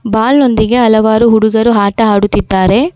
Ball ನೊಂದಿಗೆ ಹಲವಾರು ಹುಡುಗರು ಆಟ ಆಡುತ್ತಿದ್ದಾರೆ.